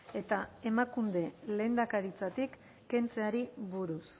eta emakunde lehendakaritzatik kentzeari buruz